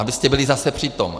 Abyste byli zase při tom.